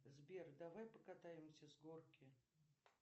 сбер давай покатаемся с горки